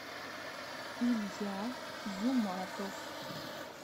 илья юматов